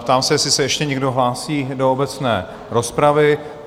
Ptám se, jestli se ještě někdo hlásí do obecné rozpravy.